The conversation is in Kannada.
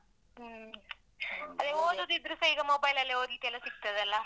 ಹ್ಮ್ ಅದೇ ಓದುದಿದ್ರೆಸ ಈಗ ಮೊಬೈಲಲ್ಲೇ ಓದ್ಲಿಕ್ಕೆಲ್ಲ ಸಿಗ್ತದಲ್ಲಾ